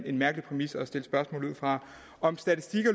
en mærkelig præmis at stille spørgsmål ud fra